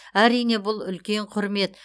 әрине бұл үлкен құрмет